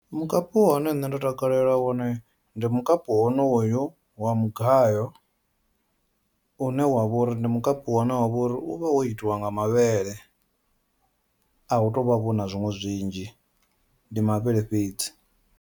Mukapu une nṋe ndo takalela wone ndi mukapu wonoyu wa mugayo une wavha uri ndi mukapu wa une wavha uri u vha wo itiwa nga mavhele ahu tovha vha vho na zwiṅwe zwinzhi ndi mavhele fhedzi.